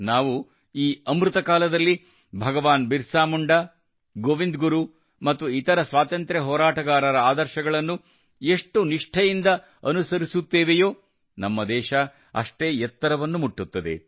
ನಾವು ಈ ಅಮೃತ ಕಾಲದಲ್ಲಿ ಭಗವಾನ್ ಬಿರ್ಸಾ ಮುಂಡಾ ಗೋವಿಂದ್ ಗುರು ಮತ್ತು ಇತರ ಸ್ವಾತಂತ್ರ್ಯ ಹೋರಾಟಗಾರರ ಆದರ್ಶಗಳನ್ನು ಎಷ್ಟು ನಿಷ್ಠೆಯಿಂದ ಅನುಸರಿಸುತ್ತೇವೆಯೋ ನಮ್ಮ ದೇಶ ಅಷ್ಟೇ ಎತ್ತರವನ್ನು ಮುಟ್ಟುತ್ತದೆ